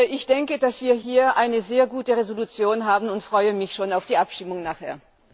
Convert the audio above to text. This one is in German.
Ich denke, dass wir hier eine sehr gute Entschließung haben, und freue mich schon auf die Abstimmung nachher.